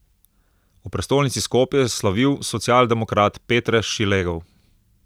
V prestolnici Skopje je slavil socialdemokrat Petre Šilegov.